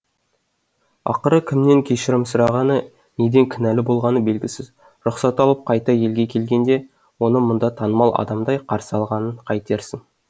ақыры кімнен кешірім сұрағаны неден кінәлі болғаны белгісіз рұқсат алып қайта елге келгенде оны мұнда танымал адамдай қарсы алғанын қайтерсің